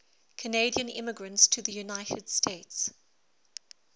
canadian immigrants to the united states